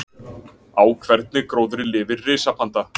Á hvernig gróðri lifir risapanda?